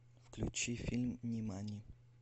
включи фильм нимани